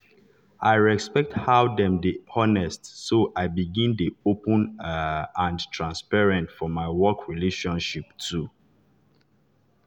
i respect how dem dey honest so i begin dey open um and transparent for my work relationships too.